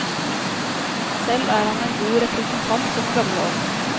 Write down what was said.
Selv er han en god representant for den gamle ånd.